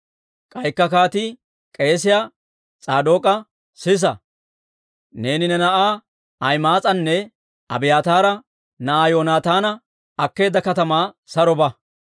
K'aykka kaatii k'eesiyaa S'aadook'a, «Sisa; neeni ne na'aa Ahima'aas'anne Abiyaataara na'aa Yoonataana akkeedda katamaa saro ba.